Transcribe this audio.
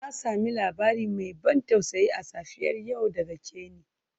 Na sami labari mai ban tausayi a safiyar yau daga Kenny.